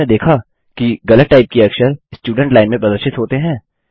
क्या आपने देखा कि गलत टाइप किए अक्षर स्टुडेंट लाइन में प्रदर्शित होते हैं